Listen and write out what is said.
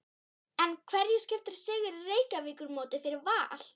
En hverju skiptir sigur í Reykjavíkurmótinu fyrir Val?